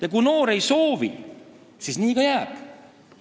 Ja kui noor ei soovi midagi ette võtta, siis nii ka jääb.